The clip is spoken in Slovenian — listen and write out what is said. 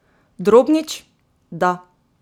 Drobnič: 'Da.